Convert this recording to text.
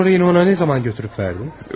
Ən son yenə ona nə zaman götürüb verdin?